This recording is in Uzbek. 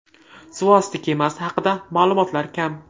Suvosti kemasi haqida ma’lumotlar kam.